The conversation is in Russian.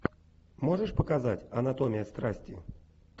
можешь показать анатомия страсти